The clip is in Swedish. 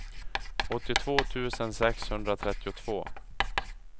åttiotvå tusen sexhundratrettiotvå